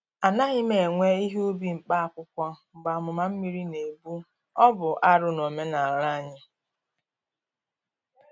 A naghị m ewe ihe ubi mkpa akwụkwọ mgbe amụma mmiri na-egbu-ọ bụ arụ n’omenala anyị.